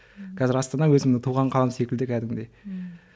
қазір астана өзімнің туған қалам секілді кәдімгідей ммм